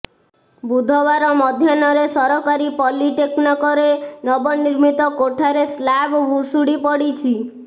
ବୁଧବାର ମଧ୍ୟାହ୍ନରେ ସରକାରୀ ପଲିଟେକ୍ନକରେ ନବନିର୍ମିତ କୋଠାରେ ସ୍ଲାବ ଭୁଶୁଡି ପଡିଛି